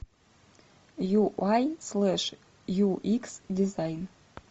ю ай слэш ю икс дизайн